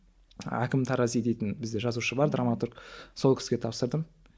әкім тарази дейтін бізде жазушы бар драматург сол кісіге тапсырдым